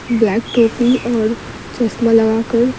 back टोपी और चश्मा लगाकर --